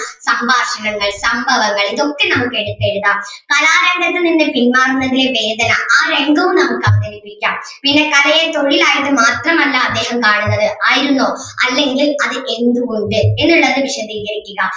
സംഭാഷണങ്ങൾ സംഭവങ്ങൾ ഇതൊക്കെ നമുക്ക് എടുത്തെഴുതാം കലാരംഗത്തുനിന്നു പിൻവാങ്ങുന്നതിൻറെ വേദന ആ രംഗവും നമുക്ക് അവതരിപ്പിക്കാം പിന്നെ കലയെ തൊഴിലായിട്ട് മാത്രം അല്ല അദ്ദേഹം കാണുന്നത് ആയിരുന്നോ അല്ലെങ്കിൽ അത് എന്ത് കൊണ്ട് എന്നുള്ളത് വിശദീകരിക്കുക